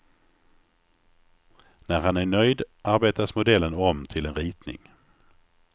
När han är nöjd arbetas modellen om till en ritning.